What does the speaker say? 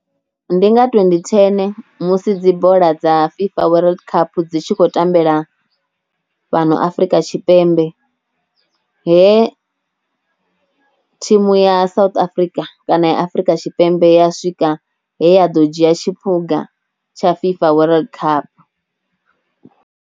Ndi nga twendi thene musi dzi bola dza FIFA World Cup dzi tshi khou tambela fhano Afrika Tshipembe he thimu ya South Africa kana ya Afrika Tshipembe ya swika he ya ḓo dzhia tshiphuga tsha FIFA World Cup.